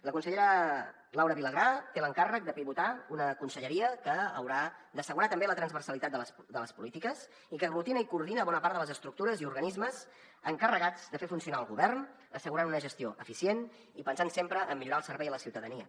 la consellera laura vilagrà té l’encàrrec de pivotar una conselleria que haurà d’assegurar també la transversalitat de les polítiques i que aglutina i coordina bona part de les estructures i organismes encarregats de fer funcionar el govern assegurant una gestió eficient i pensant sempre en millorar el servei a la ciutadania